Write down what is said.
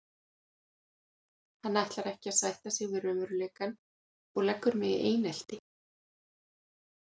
Hann ætlar ekki að sætta sig við raunveruleikann og leggur mig í einelti.